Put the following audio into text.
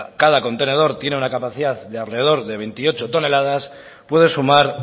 que cada contenedor tiene una capacidad de alrededor de veintiocho toneladas puede sumar